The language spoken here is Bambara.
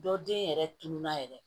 Dɔ den yɛrɛ tununa yɛrɛ